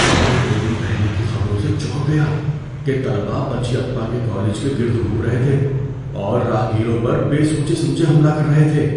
میں دو دن پہلے کی خبروں سے چونک گیا کہ طلبہ پچئیپّا کے کالج کے گرد گھوم رہے تھے اور راہگیروں پر بے سوچے سمجھے حملہ کر رہے تھے۔